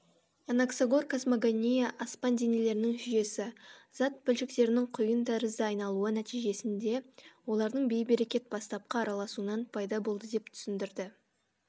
анаксагор космогония аспан денелерінің жүйесі зат бөлшектерінің қүйын тәрізді айналуы нәтижесінде олардың бейберекет бастапқы араласуынан пайда болды деп түсіндірді